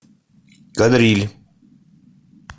кадриль